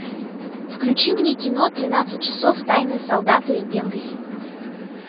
включи мне кино тринадцать часов тайные солдаты бенгази